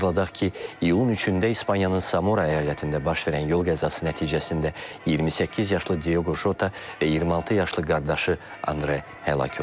Xatırladaq ki, iyulun 3-də İspaniyanın Samora əyalətində baş verən yol qəzası nəticəsində 28 yaşlı Diogo Jota və 26 yaşlı qardaşı Andre həlak olub.